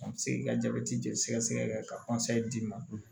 Se k'i ka jabɛti jelisɛkɛ ka d'i ma